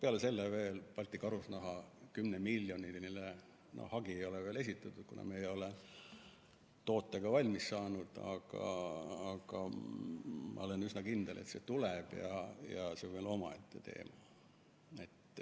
Peale selle veel Balti Karusnaha 10‑miljoniline hagi ei ole veel esitatud, kuna me ei ole n‑ö tootega valmis saanud, aga ma olen üsna kindel, et see tuleb ja see on veel omaette teema.